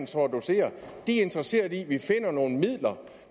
står og docerer de er interesseret i at vi finder nogle midler